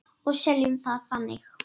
Og seljum það þannig.